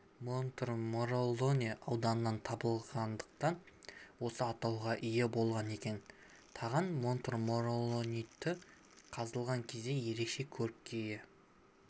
монтмороллоне ауданынан табылғандықтан осы атауға ие болған екен таған монтмориллониті қазылған кезде ерекше көрікке ие